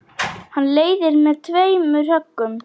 Hann leiðir með tveimur höggum.